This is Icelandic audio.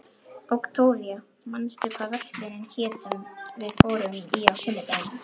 Októvía, manstu hvað verslunin hét sem við fórum í á sunnudaginn?